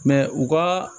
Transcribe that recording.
u ka